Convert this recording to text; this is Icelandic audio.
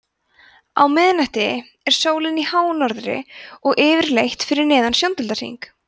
á miðnætti er sólin í hánorðri en yfirleitt fyrir neðan sjóndeildarhring